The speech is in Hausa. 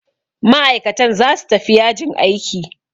Ma'aikatan zasu tafi yajin aiki.